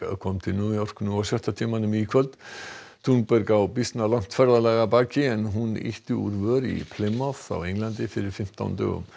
kom til New York nú á sjötta tímanum í kvöld á býsna langt ferðalag að baki en hún ýtti úr vör í á Englandi fyrir fimmtán dögum